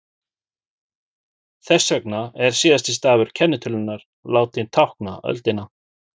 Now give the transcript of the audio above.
þess vegna er síðasti stafur kennitölunnar látinn tákna öldina